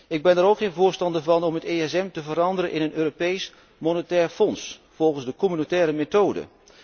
Ik ben er ook geen voorstander van om het ESM te veranderen in een Europees monetair fonds volgens de communautaire methode.